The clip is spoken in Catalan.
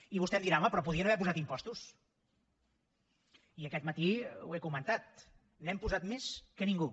i vostè em dirà home però podien haver posat impostos i aquest matí ho he comentat n’hem posat més que ningú